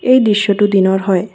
এই দৃশ্যটো দিনৰ হয়।